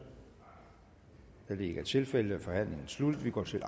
da det ikke er tilfældet er forhandlingen sluttet og vi går til